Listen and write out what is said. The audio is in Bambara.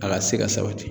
A ka se ka sabati